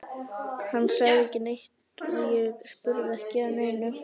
Hann sagði ekki neitt og ég spurði ekki að neinu.